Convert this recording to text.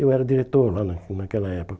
Eu era diretor lá na naquela época.